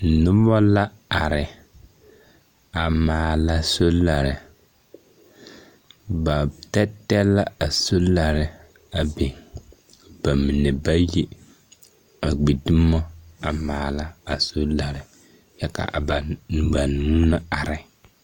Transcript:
Noba la are, a maala solare. Ba tԑtԑlԑ la a solare a biŋ ba mine bayi a gbi dumo a maala a solare kyԑ ka a ba banuu na are.